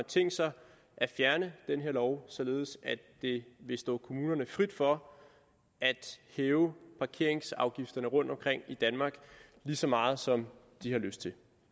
tænkt sig at fjerne den her lov således at det vil stå kommunerne frit for at hæve parkeringsafgifterne rundtomkring i danmark lige så meget som de har lyst til